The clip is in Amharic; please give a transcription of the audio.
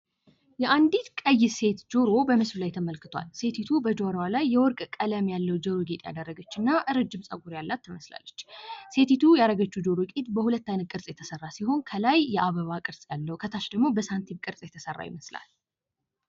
የአንዲት ቀይ ሴት ጆሮ በምስሉ ላይ ተመልክቷል። ሴቲቱ በጆሮዋ ላይ የወርቅ ቀለም ያለው ጆሮ ጌጥ ያደረገች እና ረጅም ፀጉር ያላት ትመስላለች። ሴቲቱ ያረጋችሁ ጆሮ ጌጥ በሁለት አይነት ቅርጽ የተሰራ ሲሆን ከላይ የአበባ ቅርጽ ያለው ከታች ደግሞ በሳንቲም ቅርጽ የተሰራ ይመስላል።